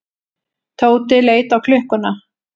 Tóti leit á klukkuna.